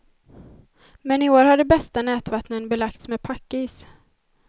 Men i år har de bästa nätvattnen belagts med packis.